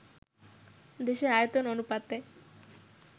দেশের আয়তন অনুপাতে